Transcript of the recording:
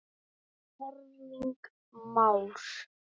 Erling Már.